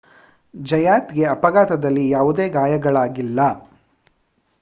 ಜಯಾತ್‌ಗೆ ಅಪಘಾತದಲ್ಲಿ ಯಾವುದೇ ಗಾಯಗಳಾಗಿಲ್ಲ